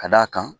Ka d'a kan